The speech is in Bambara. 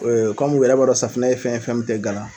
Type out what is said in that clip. kɔmi yɛrɛ b'a dɔn safinɛ ye fɛn ye, fɛn min tɛ gala.